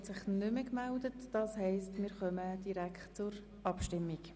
Die Antragstellerin hat sich nicht mehr gemeldet, daher kommen wir nun zur Abstimmung.